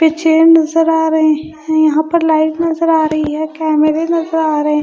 पीछे नजर आ रहे है यहां पर लाइट नजर आ रही है कैमरे नजर आ रहे है।